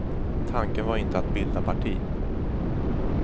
Tanken var inte att bilda parti.